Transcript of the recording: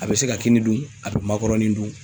A bɛ se ka kini dun , a bɛ makɔrɔnin dun.